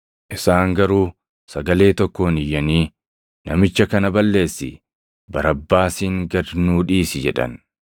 Isaan garuu sagalee tokkoon iyyanii, “Namicha kana balleessi! Barabbaasin gad nuu dhiisi!” jedhan.